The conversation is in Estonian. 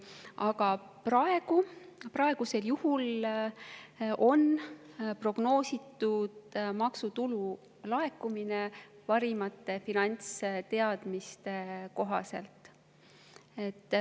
Aga praegu on maksutulu laekumine prognoositud parimate finantsteadmiste kohaselt.